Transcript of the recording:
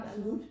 Absolut